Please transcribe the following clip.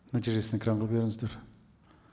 нәтижесін экранға беріңіздер